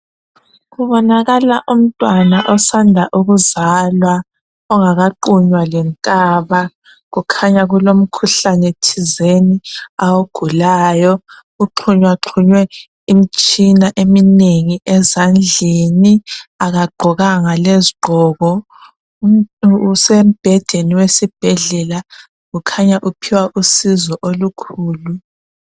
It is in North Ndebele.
Kubonakala umntwana osanda ukuzalwa ongakaqunywa lenkaba kukhanya kulomkhuhlane thizeni awugulayo kuqhunywaqhunywe imitshina eminengi ezandleni akagqokanga lezigqoko usembhedeni wesibhedlela ukhanya uphiwa usizo olukhulu